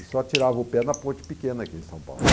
E só tirava o pé na ponte pequena aqui em São Paulo.